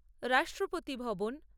রাষ্ট্রপতি ভবন